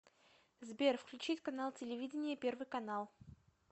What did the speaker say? сбер включить канал телевидения первый канал